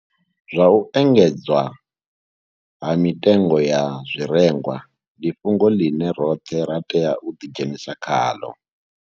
Zwa u engedzea ha mitengo ya zwirengwa ndi fhungo ḽine roṱhe ra tea u ḓidzhenisa khaḽo.